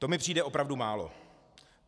To mi přijde opravdu málo.